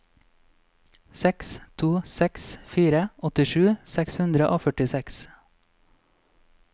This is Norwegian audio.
seks to seks fire åttisju seks hundre og førtiseks